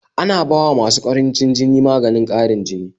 ana bawa masu ƙarancin jini maganin ƙarin jini